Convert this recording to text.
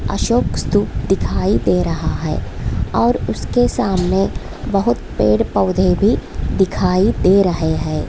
अशोक स्तूप दिखाई दे रहा है और उसके सामने बहुत पेड़-पौधे भी दिखाई दे रहे हैं।